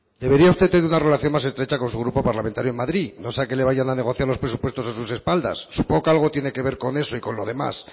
debería usted tener una relación más estrecha con su grupo parlamentario en madrid no sea que le vayan a negociar los presupuestos a sus espaldas supongo que algo que tiene que ver con eso y con lo demás